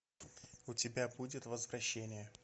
у тебя будет возвращение